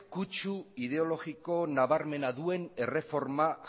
ideologiko nabarmena duen erreforma